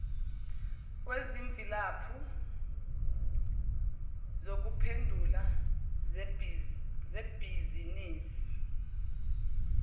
kwezimvilaphu zokuphendula zebhizinisi